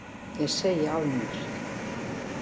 Ég segi af mér.